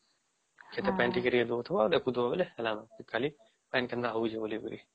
ଖେତେ ପନି ଟିକେ ଟିକେ ଦେଉଥିବା ଆଉ ଦେଖୁଥିବା ବୋଲେ ଖାଲି ପାନୀ କେନ୍ତା ହଉଚି କରି ବୋଲି